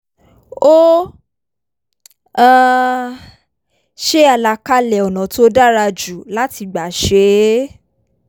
ó um ṣe àlàkalẹ̀ ọ̀nà tó dára jù láti gbà ṣe é